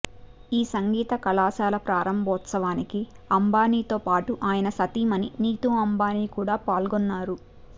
ఈ సంగీత కళాశాల ప్రారంభోత్సవానికి అంబానీతోపాటు ఆయన సతీమణి నీతూ అంబానీ కూడా పాల్గొన్నారు